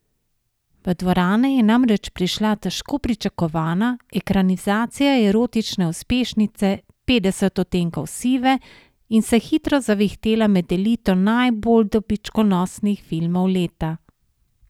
V dvorane je namreč prišla težko pričakovana ekranizacija erotične uspešnice Petdeset odtenkov sive in se hitro zavihtela med elito najbolj dobičkonosnih filmov leta.